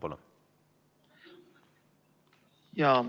Palun!